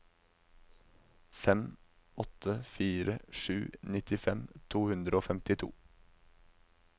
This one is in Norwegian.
fem åtte fire sju nittifem to hundre og femtito